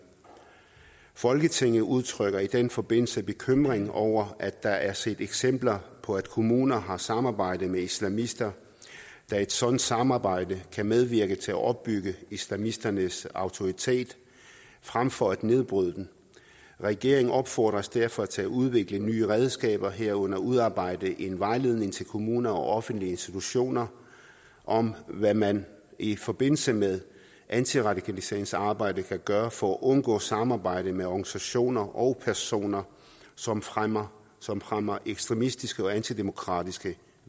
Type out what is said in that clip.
folketinget udtrykker i den forbindelse bekymring over at der er set eksempler på at kommuner har samarbejdet med islamister da et sådant samarbejde kan medvirke til at opbygge islamisternes autoritet fremfor at nedbryde den regeringen opfordres derfor til at udvikle nye redskaber herunder udarbejde en vejledning til kommuner og offentlige institutioner om hvad man i forbindelse med antiradikaliseringsarbejdet kan gøre for at undgå samarbejde med organisationer og personer som fremmer som fremmer ekstremistiske og antidemokratiske